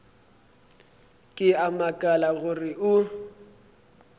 ke a makala gore o